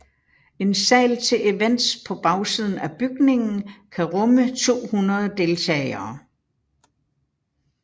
En sal til events på bagsiden af bygningen kan rumme 200 deltagere